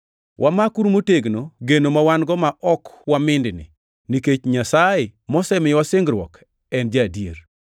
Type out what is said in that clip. Wamakuru motegno geno ma wan-go ma ok wamindni, nikech Nyasaye mosemiyowa singruok en ja-adier.